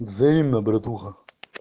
взаимно братуха